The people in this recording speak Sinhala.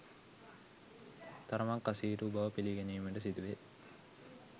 තරමක් අසීරු බව පිළිගැනීමට සිදුවේ.